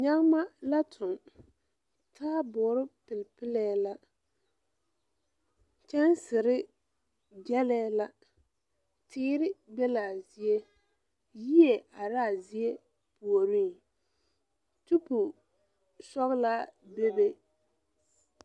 Nyagema la toŋ taaboore pilpilee la kyɛnsere gyerɛɛ la teere be la a zie yie arɛɛ a zie puoriŋ tupo sɔglaa bebe.